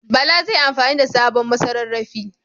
Bala zai yi amfani da sabon masarrafi.